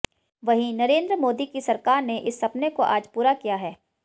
वहीं नरेंद्र मोदी की सरकार ने इस सपने को आज पूरा किया है